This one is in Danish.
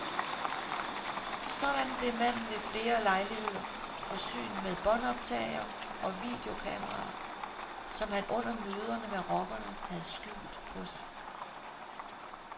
Sådan blev manden ved flere lejligheder forsynet med båndoptagere og videokameraer, som han under møderne med rockerne havde skjult på sig.